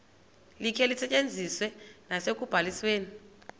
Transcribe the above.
likhe lisetyenziswe nasekubalisweni